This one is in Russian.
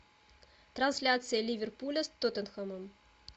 трансляция ливерпуля с тоттенхэмом